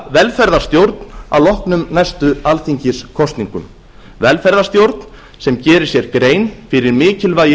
velferðarstjórn að loknum næstu alþingiskosningum velferðarstjórn sem gerir sér grein fyrir mikilvægi